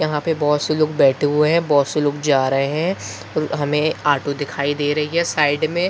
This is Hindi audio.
यहाँ पे बहुत से लोग बैठ हुए हैं बहुत से लोग जा रहे हैं हमें ऑटो दिखाई दे रही है साइड में।